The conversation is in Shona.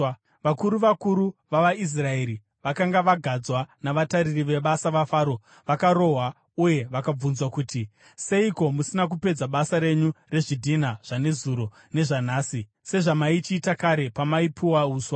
Vakuru vakuru vavaIsraeri vakanga vagadzwa navatariri vebasa vaFaro vakarohwa uye vakabvunzwa kuti, “Seiko musina kupedza basa renyu rezvidhina zvanezuro nezvanhasi, sezvamaichiita kare pamaipuwa uswa.”